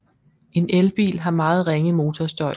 En elbil har meget ringe motorstøj